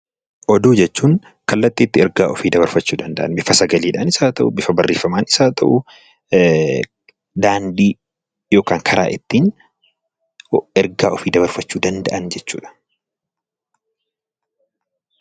Oduu jechuun kallattii ittiin ergaa ofii dabarfachuu danda'an bifa sagaleenis haa ta'u; bifa barreeffamaan daandii yookiin karaa ittiin ergaa ofii dabarfachuu danda'an jechuudha.